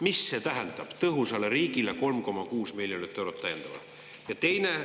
Mis see tähendab: "Tõhusale riigile" 3,6 miljonit eurot täiendavalt?